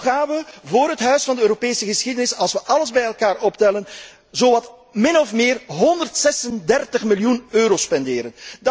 Toch gaan we voor het huis van de Europese geschiedenis, als we alles bij elkaar optellen, min of meer 136 miljoen euro spenderen.